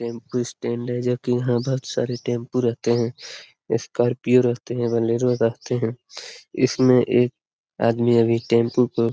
tempo stand है जो की यहाँ बोहोत सारे टेम्पू रहते है स्कार्पिओ रहते है बोलेरो रहते है इसमें एक आदमी अभी टेम्पू को--